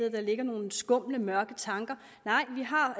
at der ligger nogle skumle mørke tanker nej vi har